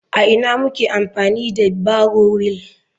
A ina muke amfani da barrow wheel?